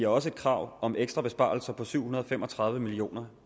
også krav om ekstra besparelser på syv hundrede og fem og tredive million